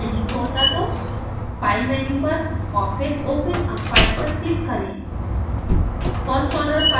अगर यह फाइल नहीं खोलता तो file मेन्यु पर और फिर open a file पर क्लिक करें